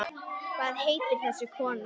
Hvað heitir þessi kona?